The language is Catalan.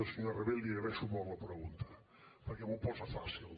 senyor rabell li agraeixo molt la pregunta perquè m’ho posa fàcil